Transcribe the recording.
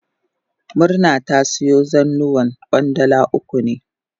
Murna ta siyo zannuwan Kwandala uku ne.